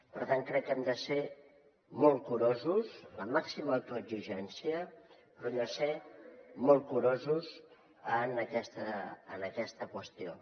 per tant crec que hem de ser molt curosos la màxima autoexigència però hem de ser molt curosos en aquesta qüestió